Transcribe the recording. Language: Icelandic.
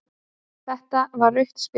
Þetta var rautt spjald